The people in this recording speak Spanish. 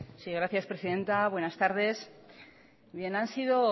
sí gracias presidenta buenas tardes bien han sido